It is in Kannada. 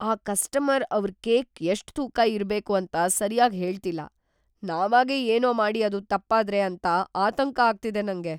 ಆ ಕಸ್ಟಮರ್‌ ಅವ್ರ್ ಕೇಕ್‌ ಎಷ್ಟ್‌ ತೂಕ ಇರ್ಬೇಕು ಅಂತ ಸರ್ಯಾಗ್‌ ಹೇಳ್ತಿಲ್ಲ. ನಾವಾಗೇ ಏನೋ ಮಾಡಿ ಅದು ತಪ್ಪಾದ್ರೆ ಅಂತ ಆತಂಕ ಆಗ್ತಿದೆ ನಂಗೆ.